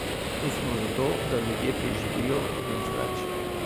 Tu smo zato, da ljudje preživijo, nič več.